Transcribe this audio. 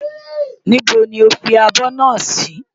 Íbo ni o fi abọ́ náà sí?